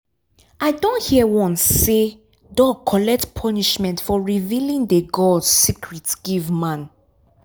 i don hear once sey dog collect punishment for revealing de gods secret give man